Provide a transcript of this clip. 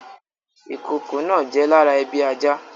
Ìkokò náà jẹ́ lára ebi ajá